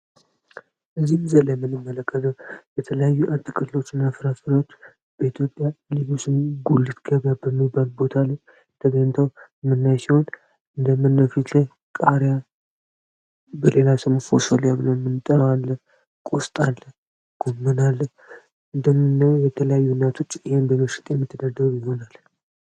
እዚህ ምስል ላይ የምንመለከተው የተለያዩ አትክልቶች እና ፍራፍሬዎች በኢትዮጵያ ገበያ ውስጥ ጉሊት ከበያ በሚባል ቦታሉ ደገኝታው ም የምናገኛቸው ሲሆን እንደ ምኖፊት ላይ ቃሪያ በሌላ ስሙ ፎስል እያልን የምንጠራው ቁስጥ አለ ጎምናል እንደምነ የተለያዩ አነቶች ይህን በመሸጥ የሚትደደሩ ይሆናል።